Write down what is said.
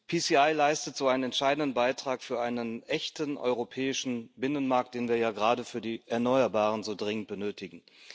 PCI leistet so einen entscheidenden Beitrag für einen echten europäischen Binnenmarkt, den wir ja gerade für die Erneuerbaren so dringend benötigen.